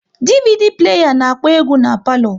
DVD pleya na-akpọ egwu n'palo